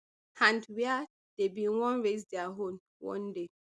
and wia dem bin wan raise dia own one day